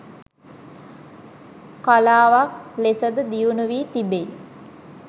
කලාවක් ලෙසද දියුණුවී තිබෙයි.